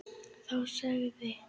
Þá sagði